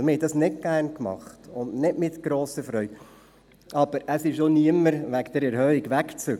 Wir haben das nicht gerne und ohne Freude getan, aber es ist auch niemand wegen dieser Erhöhung weggezogen.